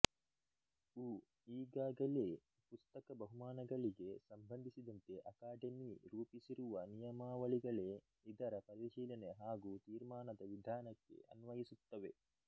ಉ ಈಗಾಗಲೇ ಪುಸ್ತಕ ಬಹುಮಾನಗಳಿಗೆ ಸಂಬಂಧಿಸಿದಂತೆ ಅಕಾಡೆಮಿ ರೂಪಿಸಿರುವ ನಿಯಮಾವಳಿಗಳೇ ಇದರ ಪರಿಶೀಲನೆ ಹಾಗೂ ತೀರ್ಮಾನದ ವಿಧಾನಕ್ಕೆ ಅನ್ವಯಿಸುತ್ತವೆ